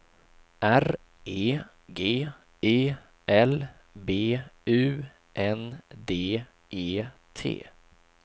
R E G E L B U N D E T